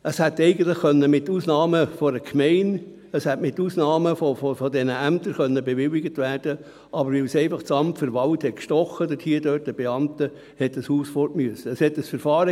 es hätte eigentlich mit Ausnahmen von der Gemeinde und von diesen Ämtern bewilligt werden können, aber weil es die Beamten des Amts für Wald (KAWA) anstachelte, musste das Haus weg.